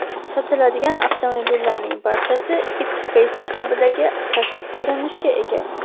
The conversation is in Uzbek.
Sotiladigan avtomobillarning barchasi X-Face uslubidagi tashqi ko‘rinishga ega.